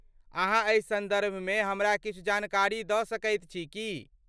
अहाँ एहि सन्दर्भमे हमरा किछु जानकारी दऽ सकैत छी की ?